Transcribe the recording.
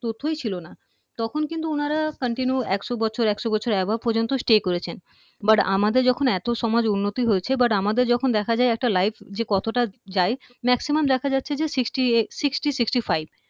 তথ্যই ছিল না তখন কিন্তু উনারা continue একশো বছর একশো বছর above পর্যন্ত stay করেছেন but আমাদের যখন এত সমাজ উন্নতি হয়েছে but আমাদের যখন দেখা যায় life যে কতটা যায় maximum দেখা যাচ্ছে যে sixty sixty five